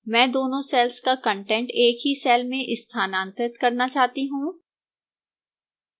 मैं दोनों cells का कंटेंट एक ही cell में स्थानांतरित करना चाहता हूं